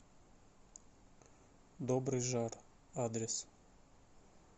добрый жар адрес